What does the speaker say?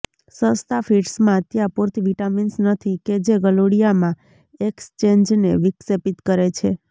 સસ્તાં ફીડ્સમાં ત્યાં પૂરતી વિટામિન્સ નથી કે જે ગલુડિયામાં એક્સચેન્જને વિક્ષેપિત કરે છે